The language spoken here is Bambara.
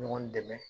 Ɲɔgɔn dɛmɛ